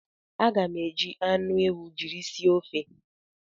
Aga m eji anụ ewu jiri sie ofe